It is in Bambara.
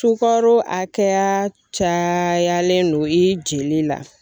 Sukaro hakɛya camanlen don i jeli la.